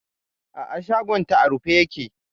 A'a shagonta a rufe yake.